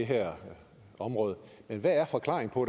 det her område men hvad er forklaringen på